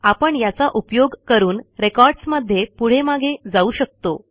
आपण याचा उपयोग करून recordsमध्ये पुढे मागे जाऊ शकतो